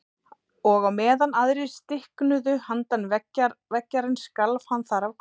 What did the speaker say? Og á meðan aðrir stiknuðu handan veggjarins skalf hann þar af kulda.